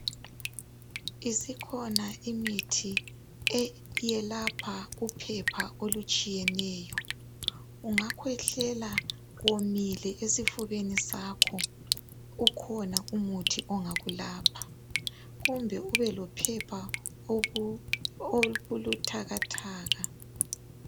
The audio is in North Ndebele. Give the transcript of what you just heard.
Isekhona imithi, iyelapha uphepha olutshiyeneyo. Ungakhwehlela komile esifubeni sakho. Ukhona umuthi ongakulapha. Kumbe ube lophepha, olubuthakathaka.